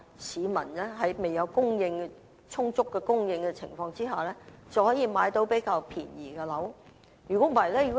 這樣，儘管在未有充足房屋供應前，市民也仍然能夠購買比較便宜的樓宇。